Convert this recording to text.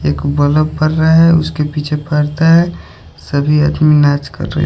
एक बलफ बर रहा है उसके पीछे पर्दा है सभी आदमी नाच कर रहे--